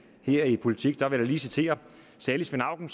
vil her i politik vil jeg da lige citere salig svend auken